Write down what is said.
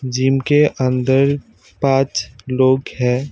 Gym के अंदर पांच लोग हैं।